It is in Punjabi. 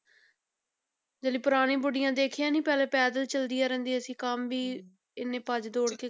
ਜਿਹੜੇ ਪੁਰਾਣੀ ਬੁੜੀਆਂ ਦੇਖੀਆਂ ਨੀ ਪਹਿਲੇ ਪੈਦਲ ਚੱਲਦੀਆਂ ਰਹਿੰਦੀਆਂ ਸੀ, ਕੰਮ ਵੀ ਇੰਨੇ ਭੱਜ ਦੌੜ ਕੇ,